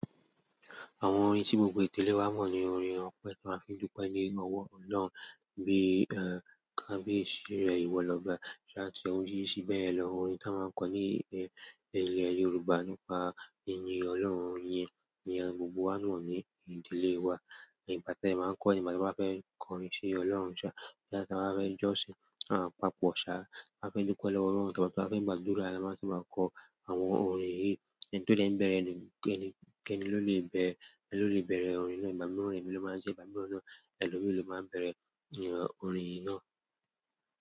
Àwọn orin tí gbogbo ètèlé wa mọ̀ ni orin ọpẹ́ tí a fi dúpẹ́ ní ọwọ́ Ọlọ́run bíi, ehn, bi kabiyesi rẹ̀ ìwọ l'ọ́ba", láti oríṣiríṣi beye lo ni àwọn orin tí a máa ń kọ ní, e, ilẹ̀ Yorùbá nípa yinyin Ọlọ́run yẹn ni gbogbo wa mọ̀ ní ìdílé wa. Ìgbáte ẹ máa ń kọ́ ni ìgbà tí wọ́n bá fẹ́ kọrin ṣi Ọlọ́run ṣá, ìgbà tí wọ́n bá fẹ́ jọ́sìn, ah, papọ̀ ṣá, a fẹ́ dúpẹ́ lọ́wọ́ Ọlọ́run tàbí tí wọ́n bá fẹ́ gbàdúrà, alámọ̀ṣú máa ń kọ àwọn orin yìí. Ẹni tó dẹ́ń bẹ̀rẹ̀ ni, kẹ́ẹ́ni, kẹ́ẹ́ni ló lè bẹ̀rẹ̀, ẹni ló lè bẹ̀rẹ̀ orin náà, ìbami ọ̀rẹ́ ni ló máa ń jẹ́, ìbami ọ̀rẹ́ ni ẹni ló máa ń bẹ̀rẹ̀, ehn, orin yìí náà.